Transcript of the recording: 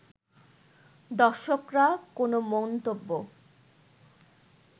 দর্শকরা কোনো মন্তব্য